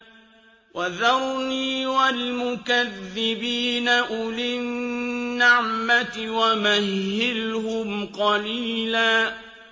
وَذَرْنِي وَالْمُكَذِّبِينَ أُولِي النَّعْمَةِ وَمَهِّلْهُمْ قَلِيلًا